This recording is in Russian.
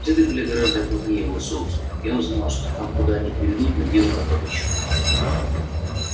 следы были гораздо крупнее его собственных и он знал что гам куда они приведут надежды на добычу мало